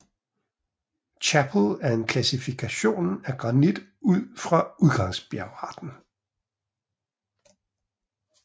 Chappell en klassifikation af granit ud fra udgangsbjergarten